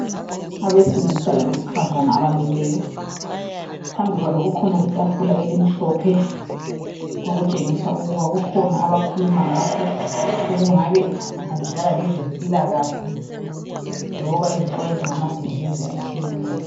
Abesilisa labesifazana abamileyo phambi kwabo kukhona itafula elimhlophe okutshengisa ukuba kukhona abakhuluma ngakho okungabe kuhambelana lezempilakahle loba izixwayiso ngama disease atshiyeneyo.